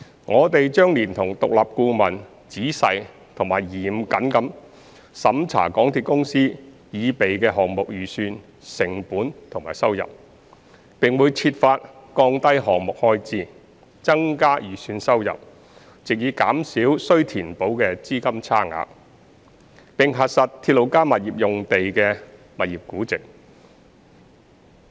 我們將連同獨立顧問仔細及嚴謹地審查港鐵公司擬備的項目預算成本及收入，並會設法降低項目開支、增加預算收入，藉以減少須填補的資金差額，並核實"鐵路加物業"用地的物業估值。